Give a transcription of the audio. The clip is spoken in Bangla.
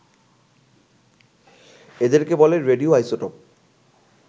এদেরকে বলে রেডিও আইসোটোপ